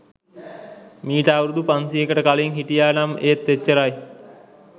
මීට අවුරුදු පන්සීයකට කලින් හිටියා නම් ඒත් එච්චරයි.